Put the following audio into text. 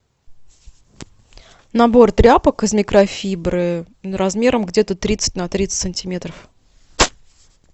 набор тряпок из микрофибры размером где то тридцать на тридцать сантиметров